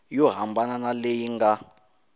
yo hambana na leyi nga